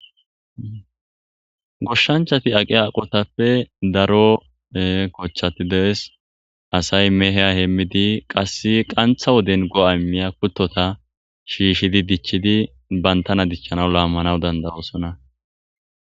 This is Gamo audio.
goshshanchati aqi aqotappe daro kochchati dees asay meheya heemmidi qasse qantha woden go7ay miya kuttota shiishidi dichchidi bantana dichchana laammanaw dandaroosona